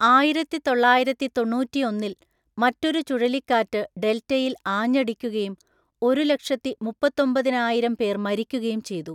ആയിരത്തിതൊള്ളായിരത്തിതൊണ്ണൂറ്റിയൊന്നില്‍ മറ്റൊരു ചുഴലിക്കാറ്റ് ഡെൽറ്റയിൽ ആഞ്ഞടിക്കുകയും ഒരുലക്ഷത്തിമുപ്പത്തൊമ്പതിനായിരം പേർ മരിക്കുകയും ചെയ്തു.